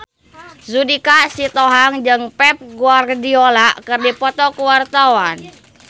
Judika Sitohang jeung Pep Guardiola keur dipoto ku wartawan